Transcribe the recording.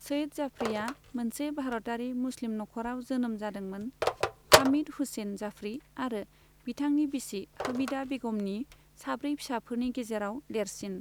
सईद जाफरीआ मोनसे भारतारि मुस्लिम नखराव जोनोम जादों मोन, हामिद हुसैन जाफरी आरो बिथांनि बिसि हमीदा बेगमनि साब्रै फिसाफोरनि गेजेराव देरसिन।